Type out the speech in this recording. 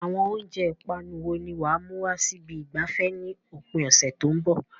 Àwọn oúnjẹ ìpanu wo ni wà á mú wá sí ibi ìgbafẹ́ ní òpin ọ̀sẹ̀ tó ń bọ̀?